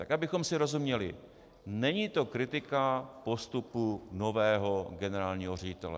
Tak abychom si rozuměli, není to kritika postupu nového generálního ředitele.